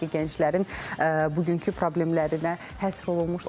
Harda ki, gənclərin bugünkü problemlərinə həsr olunmuşdur.